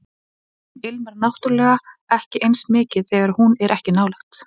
Heimurinn ilmar náttúrlega ekki eins mikið þegar hún er ekki nálægt